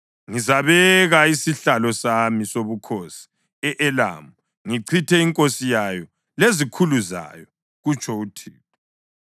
Ngizabeka isihlalo sami sobukhosi e-Elamu ngichithe inkosi yayo lezikhulu zayo,” kutsho uThixo.